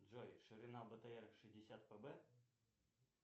джой ширина бтр шестьдесят пб